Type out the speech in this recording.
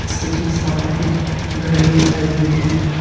इसके ठीक सामने एक घड़ी दिखाई दे रही है।